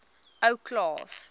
ou klaas